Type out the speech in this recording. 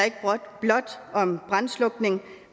om brandslukning